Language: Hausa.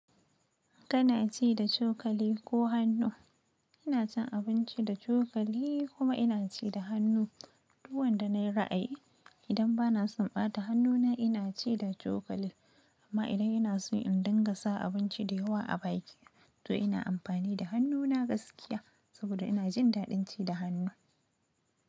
Kana ci da cokali ko hannu? Ina cin abinci da cokali kuma ina ci da hannu. Duk wanda na yi ra'ayi idan banason ɓata hannuna ina ci da chokali amma idan yana so in dinga sa abinci da yawa a baki, to ina amfani da hannuna gaskiya saboda ina jin daɗin ci da hannu.